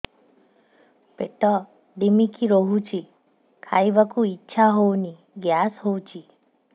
ପେଟ ଢିମିକି ରହୁଛି ଖାଇବାକୁ ଇଛା ହଉନି ଗ୍ୟାସ ହଉଚି